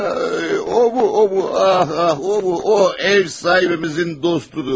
Ha, o bu, o bu, ah, ah, o bu o ev sahibimizin dostudur.